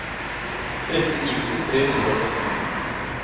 tretten tusen tre hundre og sytten